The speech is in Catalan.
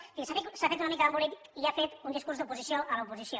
és a dir s’ha fet una mica d’embolic i ha fet un discurs d’oposició a l’oposició